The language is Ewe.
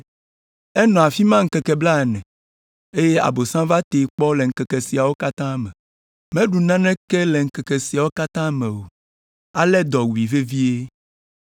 Enɔ afi ma ŋkeke blaene, eye Abosam va tee kpɔ le ŋkeke siawo katã me. Meɖu naneke le ŋkeke siawo katã me o, ale dɔ wui vevie.